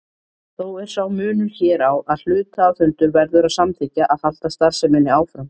Þó er sá munur hér á að hluthafafundur verður að samþykkja að halda starfseminni áfram.